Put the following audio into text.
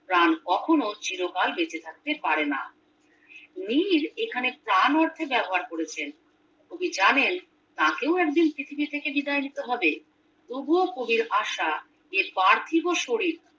প্রাণ কখনো চির কাল বেঁচে থাকতে পারে না নির এখানে প্রাণ অর্থে ব্যবহার করেছেন কবি জানেন তাকেও একদিন পৃথিবী থেকে বিদায় নিতে হবে তবুও কবির আসা এই পার্থিব শরীর